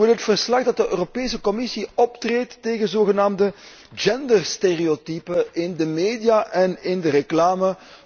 Zo wil het verslag dat de Europese Commissie optreedt tegen zogenaamde genderstereotypen in de media en in de reclame.